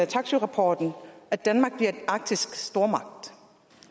taksøerapporten danmark bliver en arktisk stormagt